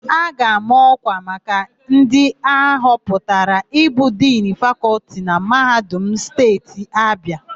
A ga-ama ọ́kwà maka ndị ahọpụtara ịbụ Dinu Fakọltị na Mahadum Steeti Abịa.